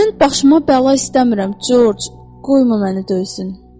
Mən başıma bəla istəmirəm, Corc, qoyma məni döysün.